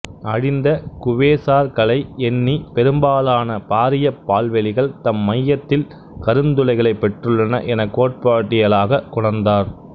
அழிந்த குவேசார்கலை எண்ணி பெரும்பாலான பாரியப் பால்வெளிகள் தம் மையத்தில் கருந்துளைகளைப் பெற்றுள்ளன எனக் கோட்பாட்டியலாகக் கொணர்ந்தார்